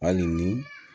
Hali ni